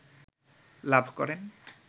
লাভ করেন